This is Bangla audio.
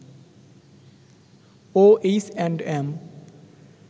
O H and M